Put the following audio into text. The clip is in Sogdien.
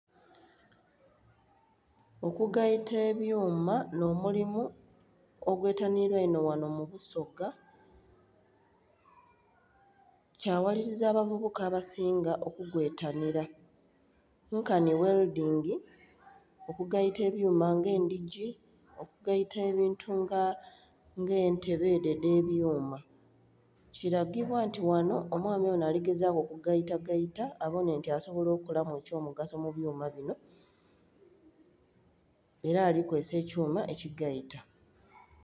Okugaita ebyuma nh'omulimu ogwetanhilwa einho ghanho mu busoga, kyaghaliliza abavubuka abasinga okugwetanhila nkanhi welodingi, okugaita ebyuma nga endhigi, okugaita ebintu nga entebe edho edh'ebyuma. Kilagibwa nti ghanho omwami onho ali kugezaaku okugaitagaita abonhe nti asobola okolamu eky'omugaso mu byuma binho ela alikozesa ekyuma ekigaita